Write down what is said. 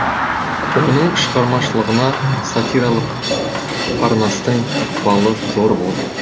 оның шығармашылығына сатиралық парнастың ықпалы зор болды